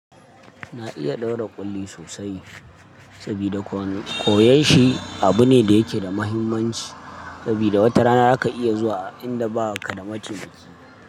Na iya ɗaura ƙulli sosai sabida koyon shi abu ne da yake da muhimmanci sabida wata rana za ka iya zuwa a inda ba ka da mataimaki.